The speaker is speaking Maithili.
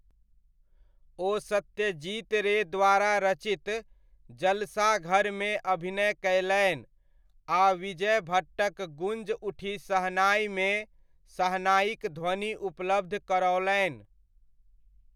ओ सत्यजीत रे द्वारा रचित 'जलसाघर'मे अभिनय कयलनि आ विजय भट्टक 'गूंज उठी शहनाइ'मे शहनाइक ध्वनि उपलब्ध करओलनि।